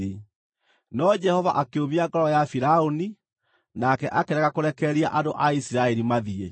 No Jehova akĩũmia ngoro ya Firaũni, nake akĩrega kũrekereria andũ a Isiraeli mathiĩ.